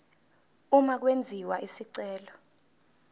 uma kwenziwa isicelo